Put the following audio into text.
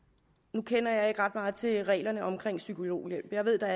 nu kender jeg ikke ret meget til reglerne om psykologhjælp jeg ved at der